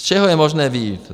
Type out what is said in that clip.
Z čeho je možné vyjít?